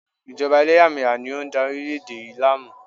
Ìjọba eléyàméyà ni o n dá orílẹ̀ èdè yi láàmú